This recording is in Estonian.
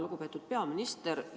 Lugupeetud peaminister!